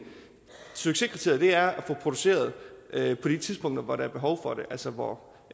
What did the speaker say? succeskriteriet er at få produceret på de tidspunkter hvor der er behov for det altså hvor